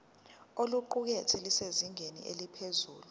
oluqukethwe lusezingeni eliphezulu